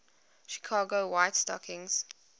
chicago white stockings